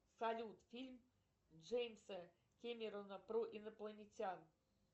салют фильм джеймса кемерона про инопланетян